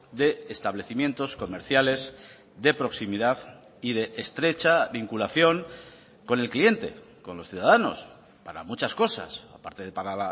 de establecimientos comerciales de proximidad y de estrecha vinculación con el cliente con los ciudadanos para muchas cosas aparte de para